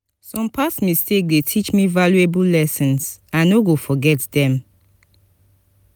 some past mistakes dey teach me valuable lessons; i go no forget dem.